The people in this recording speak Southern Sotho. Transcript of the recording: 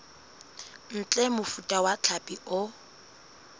ntle mofuta wa hlapi o